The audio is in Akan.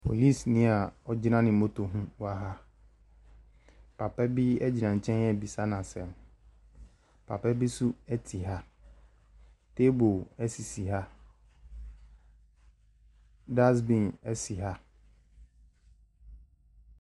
Polisini a ɔgyina ne moto ho wɔ ha. Papa bi gyina nkyɛn rebisa no asɛm. Papa bi nso te ha. Table sisi ha. Dustbin si ha.